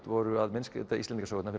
voru að myndskreyta Íslendingasögurnar